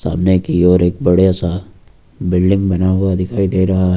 की ओर एक बड़ा सा बिल्डिंग बना हुआ दिखाई दे रहा है।